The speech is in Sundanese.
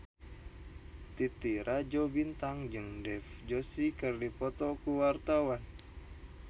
Titi Rajo Bintang jeung Dev Joshi keur dipoto ku wartawan